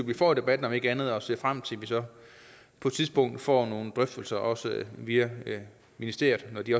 vi får debatten om ikke andet og jeg ser frem til at vi så på et tidspunkt får nogle drøftelser også via ministeriet når de